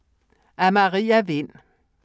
Af Maria Vind